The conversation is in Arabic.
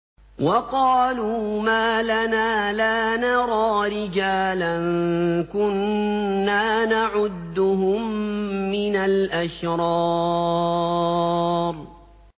وَقَالُوا مَا لَنَا لَا نَرَىٰ رِجَالًا كُنَّا نَعُدُّهُم مِّنَ الْأَشْرَارِ